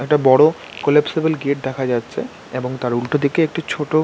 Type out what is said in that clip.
একটা বড়ো collapsible gate দেখা যাচ্ছে এবং তার উল্টো দিকে একটি ছোটো--